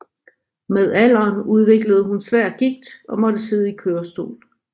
Med alderen udviklede hun svær gigt og måtte sidde i kørestol